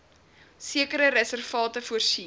sekere reservate voorsien